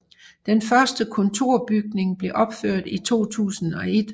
Den første kontorbygning blev opført i 2001